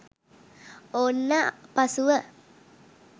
ඔන්න පසුව